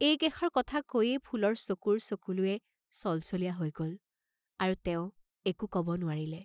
এই কেষাৰ কথা কৈয়েই ফুলৰ চকুৰ চকুলোৱে চলচলীয়া হৈ গল, আৰু তেওঁ একো কব নোৱাৰিলে।